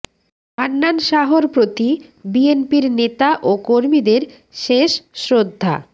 হান্নান শাহর প্রতি বিএনপির নেতা ও কর্মীদের শেষ শ্রদ্ধা